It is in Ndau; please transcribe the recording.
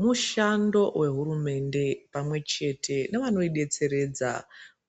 Mushando vehurumende pamwe chete nevanoibetseredza